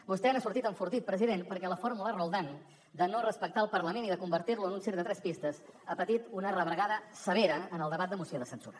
vostè n’ha sortit enfortit president perquè la fórmula roldán de no respectar el parlament i de convertir lo en un circ de tres pistes ha patit una rebregada severa en el debat de moció de censura